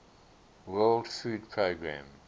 world food programme